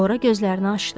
Sonra gözlərini açdı.